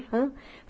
Rã.